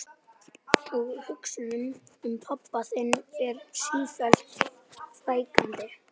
Og hugsunum um pabba þinn fer sífellt fækkandi.